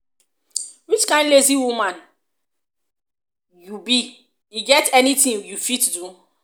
which kin lazy woman lazy woman you be e get anything you fit do?